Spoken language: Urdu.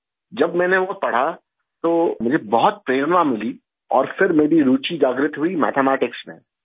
جب میں نے وہ پڑھا تو مجھے بہت حوصلہ ملا اور پھر میری دلچسپی پیدا ہوگی میتھ میٹکس میں